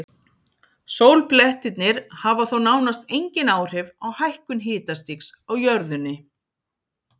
Sólblettirnir hafa þó nánast engin áhrif á hækkun hitastigs á jörðunni.